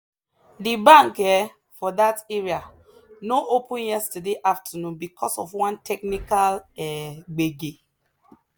the bank um for that area no open yesterday afternoon because of one technical um gbege.